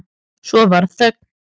Svo varð þögn.